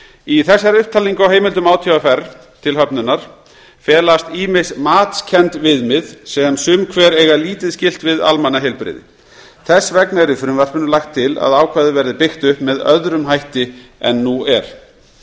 í þessari upptalningu á heimildum átvr til höfnunar felast ýmis matskennd viðmið sem sum hver eiga lítið skylt við almannaheilbrigði þess vegna er í frumvarpinu lagt til að ákvæðið verði byggt um með öðrum hætti en nú er